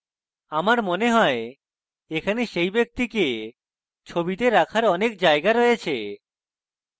আমার মনে হয় এখানে সেই ব্যক্তিকে ছবিতে রাখার অনেক জায়গা রয়েছে